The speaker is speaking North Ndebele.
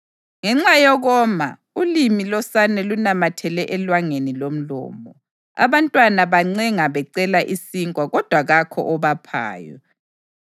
Ngenxa yokoma, ulimi losane lunamathele elwangeni lomlomo; abantwana bancenga becela isinkwa kodwa kakho obaphayo.